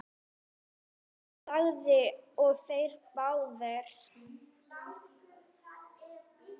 Jón þagði og þeir báðir.